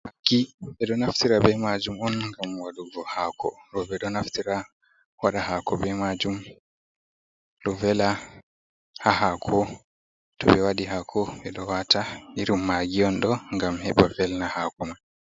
Magii, ɓe ɗo naftira be majum on gam wadugo hako, roɓe ɗo naftira waɗa hako bei majum, ɗo vela ha hako to ɓe waɗi hako ɓe ɗo wata irin magiy hon ɗo, gam heɓa welna hakuma.